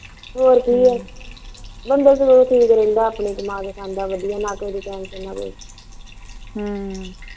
ਬੰਦਾ ਠੀਕ ਰਹਿੰਦਾ ਆਪਣੀ ਕਮਾਕੇ ਖਾਂਦਾ ਨਾ ਕਿਸੇ ਦੀ tension ਨਾ ਕੋਈ